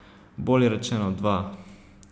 Bolje rečeno, dva.